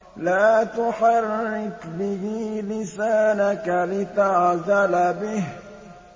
لَا تُحَرِّكْ بِهِ لِسَانَكَ لِتَعْجَلَ بِهِ